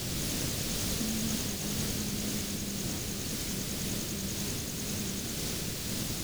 Shinnidu waxay awood u leedahay inay aqoonsato midabyo iyo ur kala duwan.